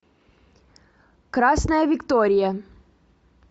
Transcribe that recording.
красная виктория